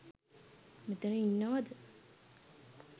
මෙතන ඉන්නවද?